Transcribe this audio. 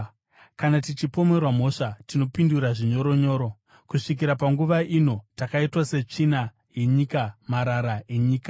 kana tichipomerwa mhosva, tinopindura zvinyoronyoro. Kusvikira panguva ino takaitwa setsvina yenyika, marara enyika.